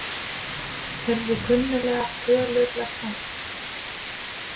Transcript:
Heyrði kunnuglegar tölur lesnar upp